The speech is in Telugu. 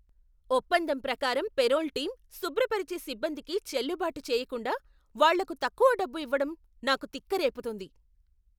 ఒప్పందం ప్రకారం పేరోల్ టీమ్ శుభ్రపరిచే సిబ్బందికి చెల్లుబాటు చేయకుండా వాళ్లకు తక్కువ డబ్బు ఇవ్వడం నాకు తిక్క రేపుతుంది.